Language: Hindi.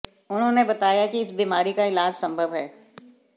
उन्होंने बताया कि इस बीमारी का इलाज संभव है